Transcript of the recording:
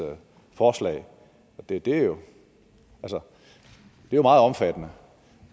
forslag og det er jo jo meget omfattende